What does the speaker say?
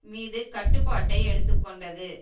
மீது கட்டுப்பாட்டை எடுத்து கொண்டது